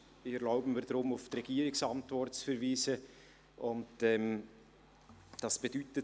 Daher erlaube ich mir, auf die Regierungsantwort zu verweisen, und das bedeutet: